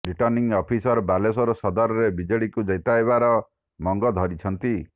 returning officer Baleswar ସଦରରେ ବିଜେଡିକୁ ଜିତାଇବାର ମଙ୍ଗ ଧରିଛନ୍ତି